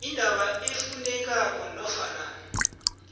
indaba efunekako nofana